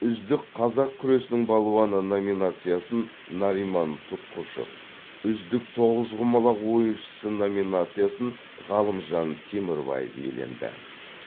үздік қазақ күресінің балуаны номинациясын нариман тұтқышев үздік тоғызқұмалақ ойыншысы номинациясын ғалымжан темірбаев иеленді